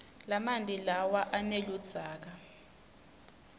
lamanti lawa aneludzaka